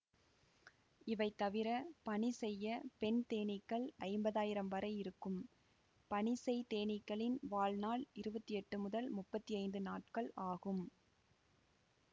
இவைதவிர பணிசெய்ய பெண் தேனீக்கள் ஐம்பதாயிரம் வரை இருக்கும் பணிசெய் தேனீக்களின் வாழ்நாள் இருவத்தி எட்டு முதல் முப்பத்தி ஐந்து நாட்கள் ஆகும்